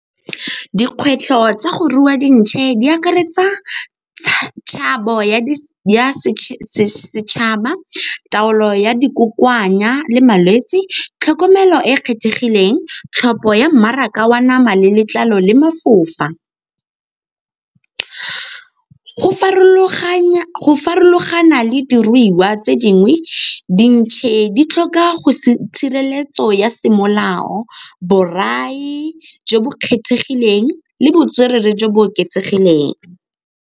Dikgwetlho tsa go rua dintšhe di akaretsa ya setšhaba, taolo ya di kokoanya le malwetse. Tlhokomelo e e kgethegileng, tlhopho ya mmaraka wa nama le letlalo le mafofa. Go farologana le diruiwa tse dingwe, dintšhe di tlhoka tshireletso ya semolao borai jo bo kgethegileng le botswerere jo bo oketsegileng.